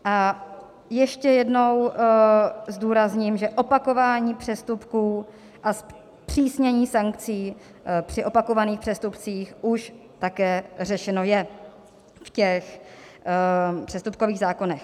A ještě jednou zdůrazním, že opakování přestupků a zpřísnění sankcí při opakovaných přestupcích už také řešeno je v těch přestupkových zákonech.